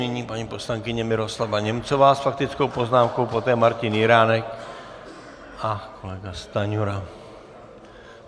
Nyní paní poslankyně Miroslava Němcová s faktickou poznámkou, poté Martin Jiránek a kolega Stanjura.